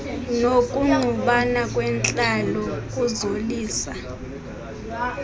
nokungqubana kwentlalo kuzaliso